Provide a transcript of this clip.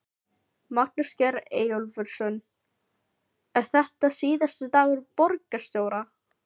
Magnús Geir Eyjólfsson: Er þetta síðasti dagur borgarstjóra?